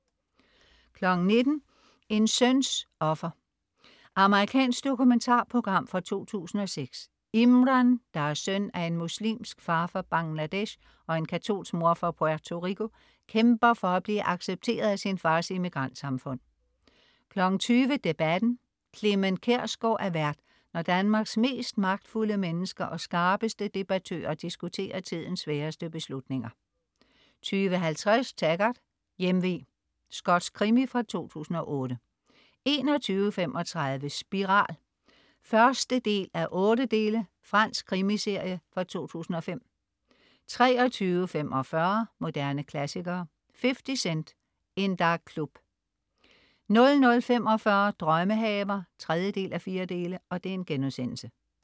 19.00 En søns offer. Amerikansk dokumentarprogram fra 2006. Imran, der er søn af en muslimsk far fra Bangladesh og en katolsk mor fra Puerto Rico kæmper for at blive accepteret af sin fars immigrantsamfund 20.00 Debatten. Clement Kjersgaard er vært, når Danmarks mest magtfulde mennesker og skarpeste debattører diskuterer tidens sværeste beslutninger 20.50 Taggart: Hjemve. Skotsk krimi fra 2008 21.35 Spiral 1:8. Fransk krimiserie fra 2005 23.45 Moderne klassikere. 50 Cent: In Da Club 00.45 Drømmehaver 3:4*